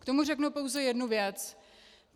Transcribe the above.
K tomu řeknu pouze jednu věc.